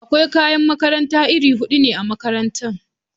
Akwai kayan makaranta iri hudu ne a makarantara.